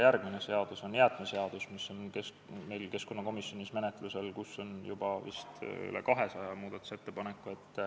Järgmine seadus, mis on keskkonnakomisjonis menetluses, on jäätmeseadus ja seal on vist juba üle 200 muudatusettepaneku.